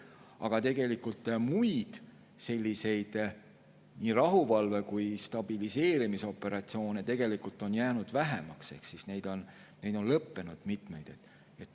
Aga muid nii rahuvalve‑ kui ka stabiliseerimisoperatsioone on jäänud vähemaks, mitmed neist on lõppenud.